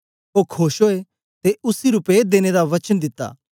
ओ खोश ओए ते उसी रूपये देने दा वचन दिता